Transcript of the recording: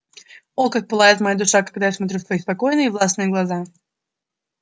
о как пылает моя душа когда я смотрю в твои спокойные и властные глаза